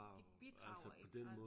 De bidrager ikke og